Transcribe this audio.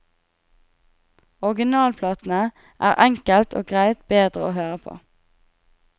Originalplatene er enkelt og greit bedre å høre på.